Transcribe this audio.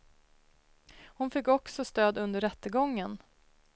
Hon fick också stöd under rättegången.